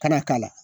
Kana k'a la